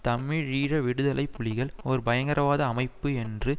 தமிழீழ விடுதலை புலிகள் ஒரு பயங்கரவாத அமைப்பு என்று